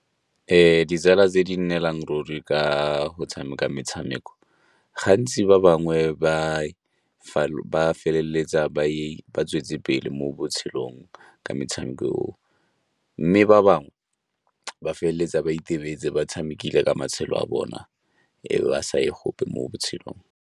Ditsala tse di nnelang ruri ka go tshameka metshameko gantsi ba bangwe ba feleletsa ba tswetse pele mo mo botshelong ka metshameko oo, mme ba bangwe ba feleletsa ba itebetse ba tshamekile ka matshelo a bona e be ba sa ye gope mo botshelong.